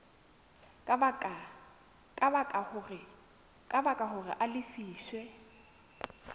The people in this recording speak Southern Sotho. ka baka hore a lefiswe